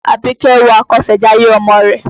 Àbíkẹ́ wo àkọsẹ̀jayé ọmọ rẹ̀.